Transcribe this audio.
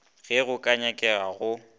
ge go ka nyakega go